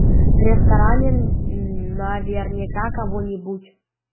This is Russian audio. в ресторане наверняка кого нибудь из наших встретим